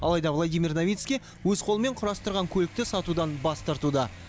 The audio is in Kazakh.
алайда владимир новицкий өз қолымен құрастырған көлікті сатудан бас тартуда